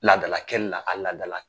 Ladala kɛli la, a ladala